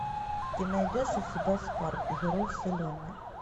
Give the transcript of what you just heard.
ты найдешь у себя спарк герой вселенной